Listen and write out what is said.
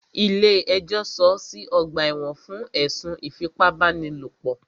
Ilé ẹjọ́ sọọ́ sí ọ̀gbà ẹ̀wọ̀n fún ẹ̀sùn ìfipábánilòpò.